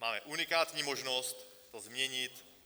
Máme unikátní možnost to změnit.